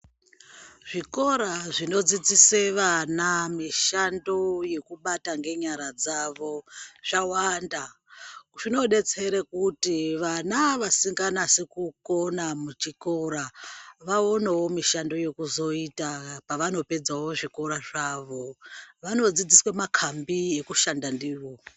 Zvikora zvinodzidzise vana mishando yekubata ngenyara dzavo, zvawanda. Zvinodetsere kuti vana vasinganasi kukona muchikora, vaonewo mishando yekuzoita pavanopedzawo zvikora zvavo. Vanodzidziswe makambi ekushanda ndiwo.